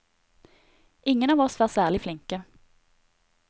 Ingen av oss var særlig flinke.